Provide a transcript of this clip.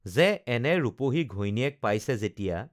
যে এনে ৰূপহী ঘৈণীয়েক পাইছে যেতিয়া